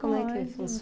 Como é que